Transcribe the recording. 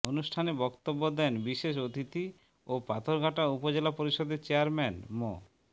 অনুষ্ঠানে বক্তব্য দেন বিশেষ অতিথি ও পাথরঘাটা উপজেলা পরিষদের চেয়ারম্যান মো